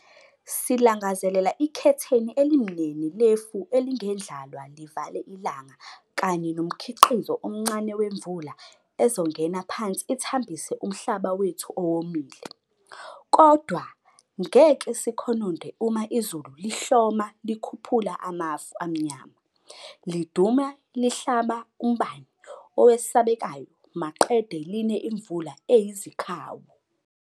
Silangazelela ikhetheni elimnene lefu elingendlalwa livale ilanga kanye nomkhiqizo omncane wemvula ezongena phansi ithambise umhlaba wethu owomile, - kodwa ngeke sikhononde uma izulu lihloma likhuphula amafu amanyama, liduma lihlaba umbani owesabekayo maqede line imvula eyizikhawu!